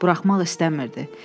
Buraxmaq istəmirdi.